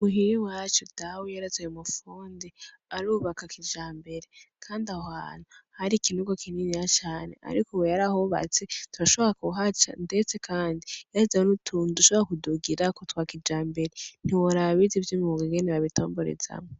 Muhira iwacu dawe yarazanye umufundi arubaka kijambere, kandi aho hantu har'ikinogo kininiya cane, ariko we yarahubatse turashobora kuhaca, ndetse, kandi yarubatse nutundi tuntu dushobora kudugirako twa kijambere ntiworaba abize ivy'umwunga ingene babitomborezamwo.